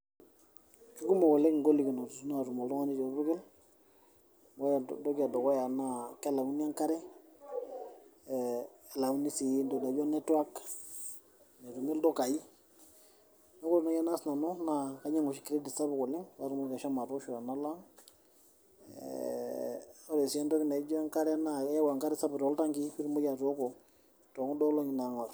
Kekumok oleng' igolikinot natum oltung'ani torpukel, ore entoki edukuya naa kelauni enkare, elauni si entoki naijo netwak, metumi ildukai. Neeku ore nai enaas nanu, kainyang'u oshi credit sapuk patumoki ashomo atoosho tenalo ang',eh ore si entoki naija enkare yau enkare sapuk toltankii pitumoki atooko tokuda olong'i nang'or.